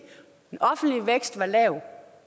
den offentlige vækst var lav